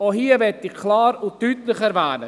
Auch hier möchte ich klar und deutlich erwähnen: